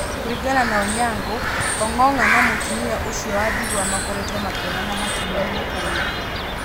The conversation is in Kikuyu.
Kũringana na Onyango, Ong’ong’a na mũtumia ũcio wa ndigwa makoretwo makĩonana hakuhĩ mĩaka ĩrĩ.